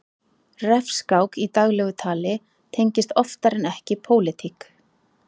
Refskák í daglegu tali tengist oftar en ekki pólitík.